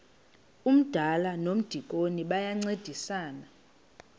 umdala nomdikoni bayancedisana